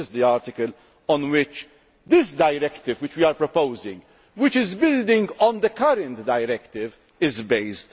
So this is the article on which this directive which we are proposing, which is building on the current directive, is